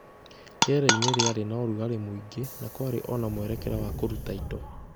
Rĩera-inĩ rĩarĩ na ũrugarĩ mũingĩ, na kwarĩ o na mwerekera wa kũruta indo.